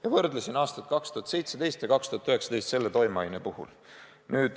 Me võrdlesin aastaid 2017 ja 2019 selle toimeaine puhul.